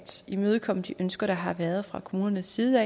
imødekomme de ønsker der har været fra kommunernes side